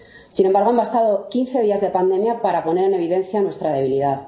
Sin embargo, han bastado quince días de pandemia para poner en evidencia nuestra debilidad.